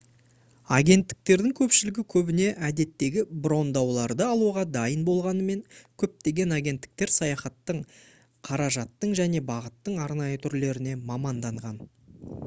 агенттіктердің көпшілігі көбіне әдеттегі брондауларды алуға дайын болғанымен көптеген агенттіктер саяхаттың қаражаттың және бағыттың арнайы түрлеріне маманданған